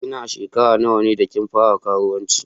Ki na a'shekara nawa ne da kin fara karuwanci?